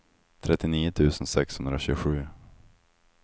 trettionio tusen sexhundratjugosju